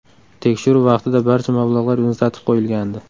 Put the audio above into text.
Tekshiruv vaqtida barcha mablag‘lar muzlatib qo‘yilgandi.